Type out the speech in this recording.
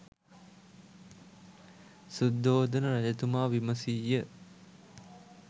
සුද්ධෝදන රජතුමා විමසීය.